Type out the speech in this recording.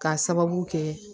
K'a sababu kɛ